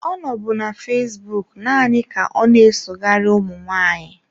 Ọ nọbụ na fesbụụk naanị ka ọna-esoghari ụmụ nwaanyị.